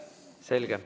Selge.